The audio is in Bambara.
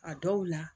A dɔw la